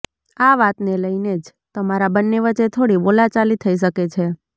આ વાતને લઈને જ તમારા બંને વચ્ચે થોડી બોલાચાલી થઈ શકે છે